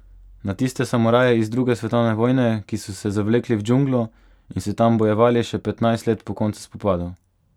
Na tiste samuraje iz druge svetovne vojne, ki so se zavlekli v džunglo in se tam bojevali še petnajst let po koncu spopadov!